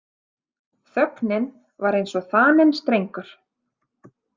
Þögnin var eins og þaninn strengur.